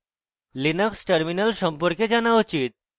linux terminal সম্পর্কে জানা উচিত